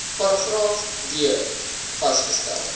paragraaf d vasgestel